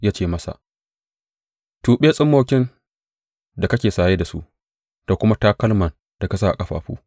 Ya ce masa, Tuɓe tsummokin da kake saye da su, da kuma takalman da ka sa a ƙafafu.